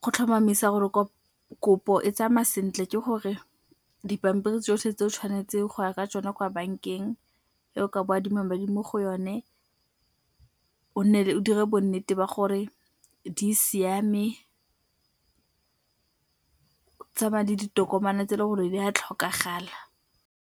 Go tlhomamisa gore kopo e tsamaya sentle ke gore dipampiri tsotlhe tse o tshwanetseng go ya ka tsona kwa bankeng eo ka bo o adima mo go yone o nne o dire bo nnete ba gore di siame, o tsamaya le ditokomane tse le gore di a tlhokagala.